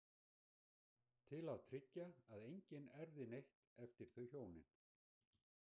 Til að tryggja að enginn erfði neitt eftir þau hjónin.